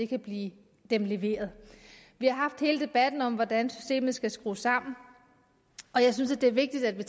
kan blive dem leveret vi har haft hele debatten om hvordan systemet skal skrues sammen og jeg synes at det er vigtigt at vi